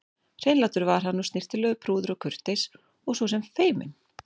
Hreinlátur var hann og snyrtilegur, prúður og kurteis og svo sem feiminn.